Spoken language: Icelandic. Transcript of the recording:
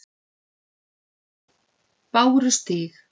Bárustíg